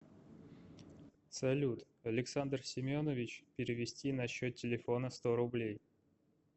салют александр семенович перевести на счет телефона сто рублей